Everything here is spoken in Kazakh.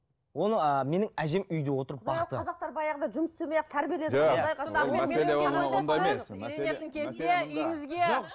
оны ыыы менің әжем үйде отырып бақты қазақтар баяғыда жұмыс істемей ақ тәрбиеледі